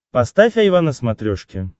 поставь айва на смотрешке